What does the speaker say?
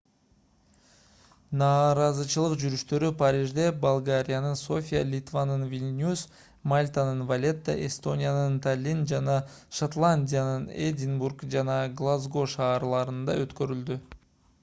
нааразычылык жүрүштөрү парижде болгариянын софия литванын вильнюс мальтанын валетта эстониянын таллин жана шотландиянын эдинбург жана глазго шаарларында өткөрүлдү